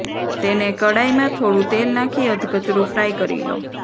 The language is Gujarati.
તેને કડાઈમાં થોડુ તેલ નાખી અધકચરુ ફ્રાય કરી લો